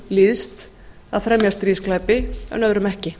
líðst að fremja stríðsglæpi en öðrum ekki